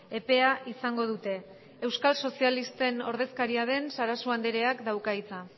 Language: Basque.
epea izango dute euskal sozialisten ordezkariaden sarasua andereak dauka hitza